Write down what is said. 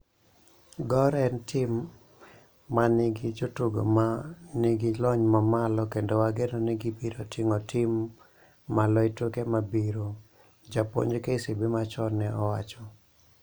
Gor en tim ma nigi jotugo ma nigi lony mamalo kendo wageno ni gibiro ting'o tim malo e tuke mabiro," japuonj KCB machon ne owacho.